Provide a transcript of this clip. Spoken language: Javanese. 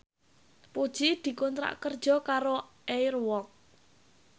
Puji dikontrak kerja karo Air Walk